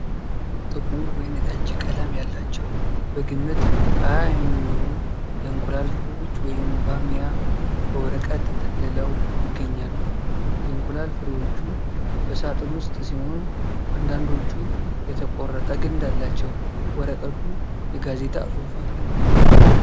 ጥቁር ወይንጠጅ ቀለም ያላቸው በግምት ሃያ የሚሆኑ የእንቁላል ፍሬዎች (ባሚያ) በወረቀት ተጠቅልለው ይገኛሉ። የእንቁላል ፍሬዎቹ በሳጥን ውስጥ ሲሆን አንዳንዶቹ የተቆረጠ ግንድ አላቸው። ወረቀቱ የጋዜጣ ጽሁፍ አለው።